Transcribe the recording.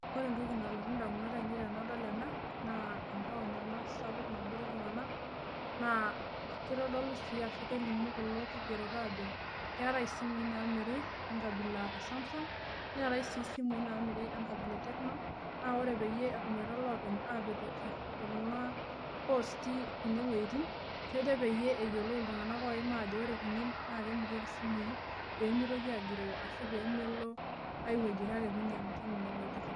Ore entoki nalotu indamunot ainei tenadol ena naa entaon ena sapuk nabore iltung'anak naa kitodolu sii ashu kelimu kulo kigerot aajo keetae isimui naamiri enkabila e Samsung, neetae sii isimui naamiri enkabila e Tecno, naa ore peyie eshomoito iloopeny aapetoki kuna posti kunewueitin, kejo peyie eyiolou iltung'anak ooim ajo ore kunen naa kemirieki isimui peemitoki agiroo ashu peemelo ai wueji kake piinyang'u teine wueji